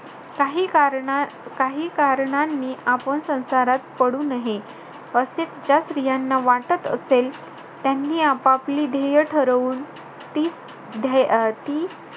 काही कारणा~ काही कारणांनी आपण संसारात पडू नहे. असे ज्या स्त्रियांना वाटत असेल. त्यांनी आपापली ध्येय ठरवून, ती ध्ये~ अं ती,